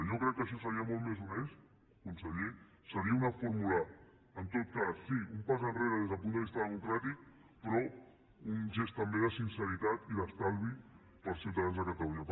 jo crec que això seria molt més honest conseller seria una fórmula en tot cas sí un pas enrere des del punt de vista democràtic però un gest també de sinceritat i d’estalvi per als ciutadans de catalunya